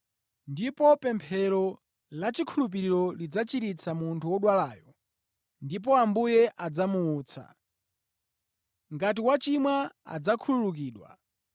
Ndipo pemphero lachikhulupiriro lidzachiritsa munthu wodwalayo ndipo Ambuye adzamuutsa. Ngati wachimwa adzakhululukidwa.